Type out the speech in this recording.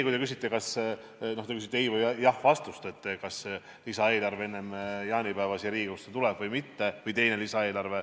Te küsite ei- või jah-vastust, kas teine lisaeelarve enne jaanipäeva Riigikogusse tuleb või mitte.